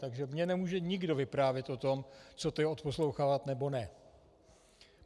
Takže mně nemůže nikdo vyprávět o tom, co to je odposlouchávat nebo ne.